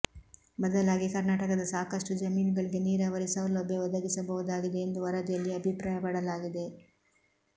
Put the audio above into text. ಬದಲಾಗಿ ಕರ್ನಾಟಕದ ಸಾಕಷ್ಟು ಜಮೀನುಗಳಿಗೆ ನೀರಾವರಿ ಸೌಲಭ್ಯ ಒದಗಿಸಬಹುದಾಗಿದೆ ಎಂದು ವರದಿಯಲ್ಲಿ ಅಭಿಪ್ರಾಯಪಡಲಾಗಿದೆ